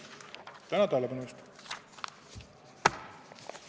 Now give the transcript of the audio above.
Tänan tähelepanu eest!